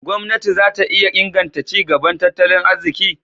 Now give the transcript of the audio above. Gwamnati za ta iya inganta ci gaban tattalin arziki?